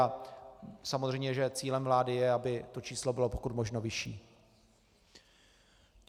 A samozřejmě že cílem vlády je, aby to číslo bylo pokud možno vyšší.